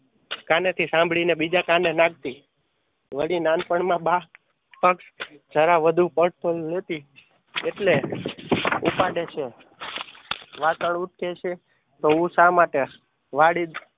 કાને થી સાંભળી ને બીજા કાને નાખતી. વળી નાનપણ માં બા એટલે ઉપાડે છે. વાશન ઊટકે છે તો હું શા માટે